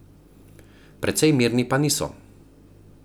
Precej mirni pa niso.